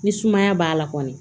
Ni sumaya b'a la kɔni